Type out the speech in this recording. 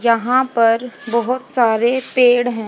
जहां पर बहोत सारे पेड़ हैं।